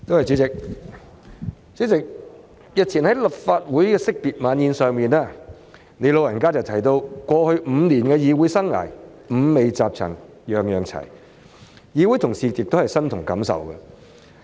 主席，日前在立法會惜別晚宴上，你"老人家"提到過去5年的議會生涯，"五味雜陳樣樣齊"，議會同事亦感同身受。